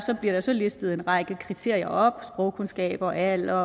listet en række kriterier op sprogkundskaber alder